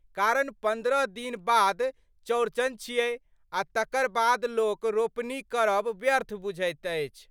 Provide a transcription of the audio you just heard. कारण पन्द्रह दिन बाद चौरचन छिऐ आ तकर बाद लोक रोपनि करब व्वर्थ बुझैत अछि।